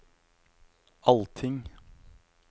allting